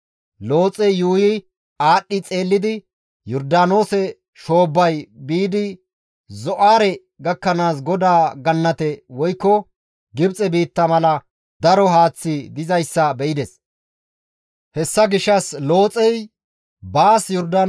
Looxey yuuyi aadhdhi xeellidi Yordaanoose shoobbay biidi Zo7aare gakkanaas GODAA gannate woykko Gibxe biitta mala daro haaththi dizayssa be7ides. (Hessika GODAY Sodoomenne Gamoora geetettiza katamata dhayssanaappe kase.)